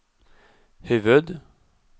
huvud-